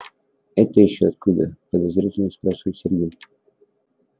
это ещё откуда подозрительно спрашивает сергей